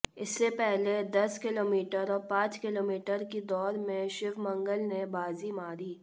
इससे पहले दस किलोमीटर और पांच किलोमीटर की दौड़ में शिवमंगल ने बाजी मारी